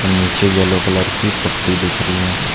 नीचे yellow colour की पट्टी दिख रही हैं।